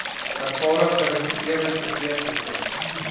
ervare geregistreerde verpleegsusters